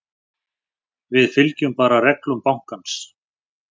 Við fylgjum bara reglum bankans.